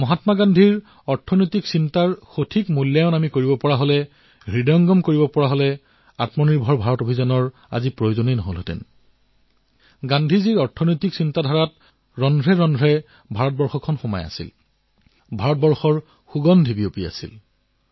মহাত্মা গান্ধীৰ যি আৰ্থিক চিন্তন আছিল সেই সত্বা যদি ধৰি ৰখা হলহেঁতেন সেই পথত যদি চলা হলহেঁতেন তেন্তে আজি আত্মনিৰ্ভৰ ভাৰত অভিযানৰ প্ৰয়োজন নহলহেঁতেন